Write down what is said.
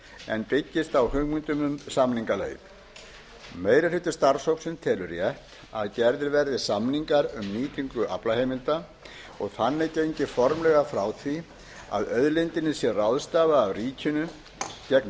en byggist á hugmyndum um samningaleið meiri hluti starfshópsins telur rétt að gerðir verði samningar um nýtingu aflaheimilda og þannig gengið formlega frá því að auðlindinni sé ráðstafað af ríkinu